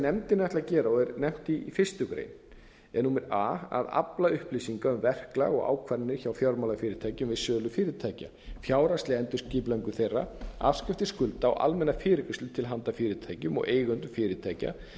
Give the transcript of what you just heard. ætlað að gera og er nefnt í fyrstu grein er a að afla upplýsinga um verklag og ákvarðanir hjá fjármálafyrirtækjum við sölu fyrirtækja fjárhagsleg endurskipulagningu þeirra afskriftir skulda og almenna fyrirgreiðslu til handa fyrirtækjum og eigendum fyrirtækja